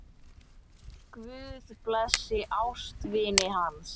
Guð blessi ástvini hans.